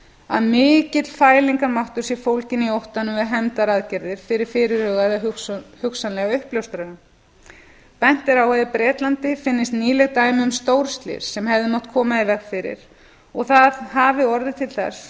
að mikill fælingarmáttur sé fólginn í óttanum við hefndaraðgerðir fyrir fyrirhugaða eða hugsanlega uppljóstrara bent er á að í bretlandi finnist nýleg dæmi um stórslys sem hefði mátt koma í veg fyrir og að það hafi orðið til þess